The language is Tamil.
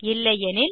இல்லையெனில்